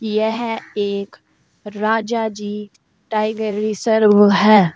यह एक Rajaji tiger reserve है।